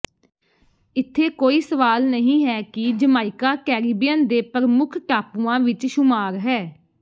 ਇੱਥੇ ਕੋਈ ਸਵਾਲ ਨਹੀਂ ਹੈ ਕਿ ਜਮਾਇਕਾ ਕੈਰੀਬੀਅਨ ਦੇ ਪ੍ਰਮੁੱਖ ਟਾਪੂਆਂ ਵਿੱਚ ਸ਼ੁਮਾਰ ਹੈ